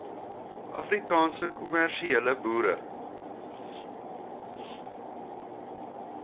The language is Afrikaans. afrikaanse kommersiële boere